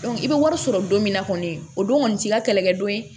i bɛ wari sɔrɔ don min na kɔni o don kɔni t'i ka kɛlɛkɛ don